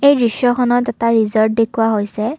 এই দৃশ্যখনত এটা ৰিজ'ৰ্ত দেখুওৱা হৈছে।